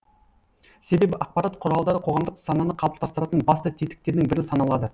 себебі ақпарат құралдары қоғамдық сананы қалыптастыратын басты тетіктердің бірі саналады